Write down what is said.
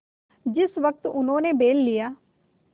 जिस वक्त उन्होंने बैल लिया